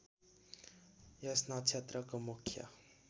यस नक्षत्रको मुख्य